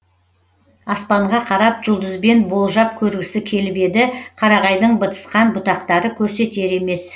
аспанға қарап жұлдызбен болжап көргісі келіп еді қарағайдың бытысқан бұтақтары көрсетер емес